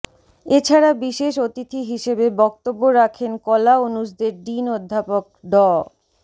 এ ছাড়া বিশেষ অতিথি হিসেবে বক্তব্য রাখেন কলা অনুষদের ডিন অধ্যাপক ড